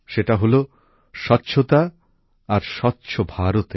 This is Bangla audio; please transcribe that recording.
সেটা হলো স্বচ্ছতা আর স্বচ্ছ ভারতের